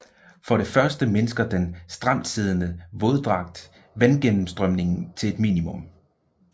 For det første mindsker den stramtsiddende våddragt vandgennemstrømningen til et minimum